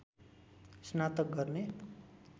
स्नातक गर्ने